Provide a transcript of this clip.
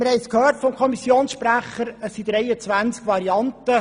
Wir haben es vom Kommissionsprecher gehört: